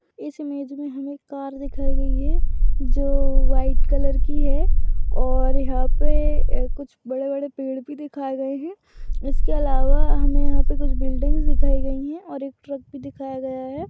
इस इमेज मे हमे कार दिखाई गई है। जो व्हाइट कलर की है। और यहा पे कुछ बड़े-बड़े पेड भी दिखाई गए है। इसके अलावा हमे यहा पे कुछ बिल्डिंग्स दिखाई गई है। और एक ट्रक भी दिखाया गया है।